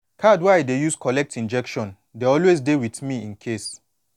card wey i dey use collect injection dey always dey with me incase